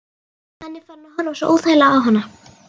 Hann er farinn að horfa svo óþægilega á hana.